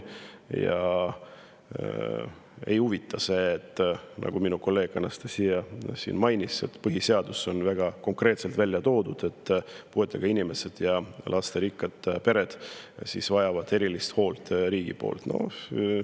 Neid ei huvita see, nagu minu kolleeg Anastassia siin mainis, et põhiseadus on väga konkreetselt välja toonud, et puuetega inimesed ja lasterikkad pered vajavad erilist hoolt riigi poolt.